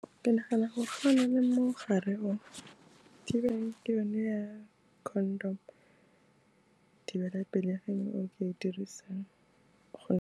Ke nagana gore ga o na le mogare o, thibang ke yone ya condom, thibelapelegi e o ka e dirisang .